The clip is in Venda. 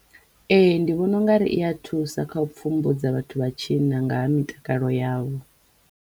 Ee ndi vhona ungari i ya thusa kha u pfhumbudza vhathu vha tshinna nga ha mitakalo yavho.